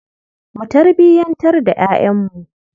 Mu tarbiyantar da ƴaƴanmu.